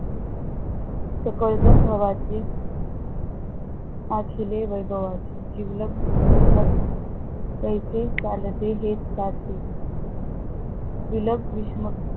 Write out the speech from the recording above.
सकळजन भवाची अखिले वैभवाचे जिवलग मध तैसे चालते, हे सुखाचे बिलग विष्णू